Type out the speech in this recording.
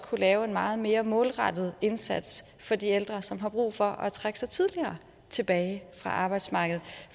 kunne lave en meget mere målrettet indsats for de ældre som har brug for at trække sig tidligere tilbage fra arbejdsmarkedet